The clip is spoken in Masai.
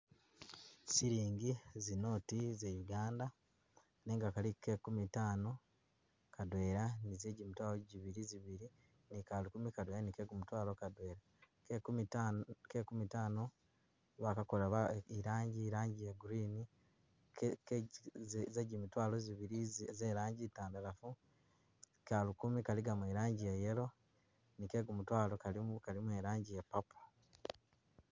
Silingi zinoti za uganda nenga kaliko ke kumi tano kadwela ni zejimitwalo jibili zibili ni kalukumi kadwela ni ke kumudwaalo Kadwela, ke kumi taano bakakola ba irangi irangi ya green ke ke ji zi jimitwaalo zibili ze langi ntandalafu, kalukumi kaligamo e'langi ya yellow ni ke kumutwaalo kalimo e'langi ya purple